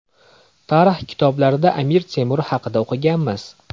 Tarix kitoblarida Amir Temur haqida o‘qiganmiz.